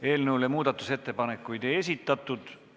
Eelnõu kohta muudatusettepanekuid ei esitatud.